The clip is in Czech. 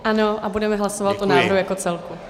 Ano a budeme hlasovat o návrhu jako celku.